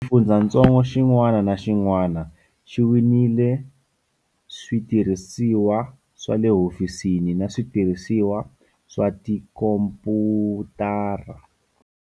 Xifundzatsongo xin'wana na xin'wana xi winile switirhisiwa swa le hofisini na switirhisiwa swa tikhomphyutara.